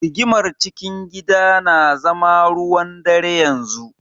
Rigimar cikin gida na zama ruwan-dare yanzu.